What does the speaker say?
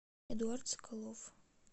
эдуард соколов